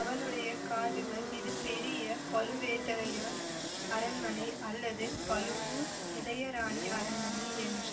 அவனுடைய காதுகள் இது பெரிய பழுவேட்டரையார் அரண்மனை அல்லது பழுவூர் இளையராணி அரண்மனை என்ற